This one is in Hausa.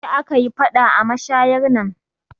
Jiya aka yi faɗa a mashayar nan